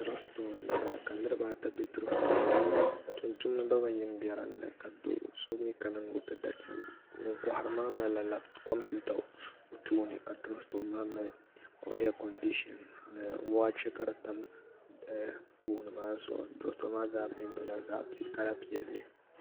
drop sitooni n bɔŋɔ la niribaata ʒɛ di puuni tumitudi gba mi bɛ dini ka so mi kana ni o ti taati li ŋɔ kohiri maa malila komipɛwuta o tuuni ka drop sitooni maa mali aikonidishɛŋ ka wachɛ tam goni maa zuɣ ni zuɣ saa maa zaa pɛntila kala piɛli